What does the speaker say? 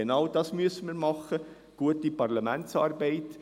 Genau dies müssen wir machen: gute Parlamentsarbeit.